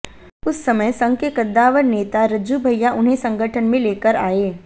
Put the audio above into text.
उस समय संघ के कद्दावर नेता रज्जू भैया उन्हें संगठन में लेकर आए